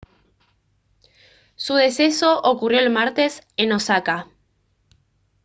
su deceso ocurrió el martes en osaka